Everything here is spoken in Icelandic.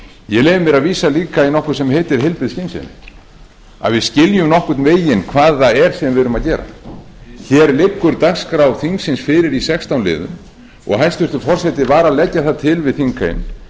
ég leyfi mér að vísa líka í nokkuð sem heitir heilbrigði skynsemi að við skiljum nokkurn veginn hvað það er sem við erum að gera hér liggur dagskrá þingsins fyrir í sextán liðum og hæstvirtur forseti var að leggja það til við þingheim